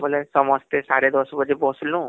ବୋଲେ ସମସ୍ତେ ସାଡେ ଦଶ ବାଜେ ବସିଲୁ